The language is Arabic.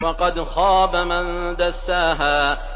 وَقَدْ خَابَ مَن دَسَّاهَا